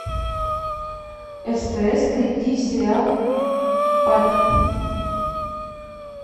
стс найти сериал папик